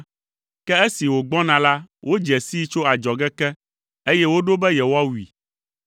Ke esi wògbɔna la, wodze sii tso adzɔge ke, eye woɖo be yewoawui!